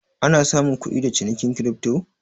Ana samun kudi da cinikin kirifto?